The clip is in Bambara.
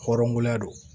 Hɔrɔnya don